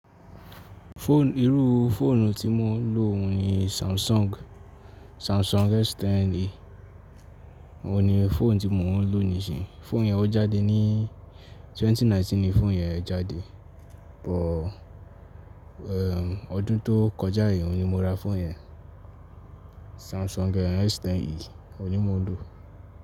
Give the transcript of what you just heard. Fóònù, irú fóònù tí mo ń lò ní Samsung, Samsung S10 o ni fóònù tí mo ń lò nísinyí. Fóònù yẹn ó jáde ní 2019 ni fóònù yẹn ẹ̀ jáde, but, eh, ọdún tó kọjá yìí ni mo ra fóònù yẹn. Samsung S10 ni mò ń lò.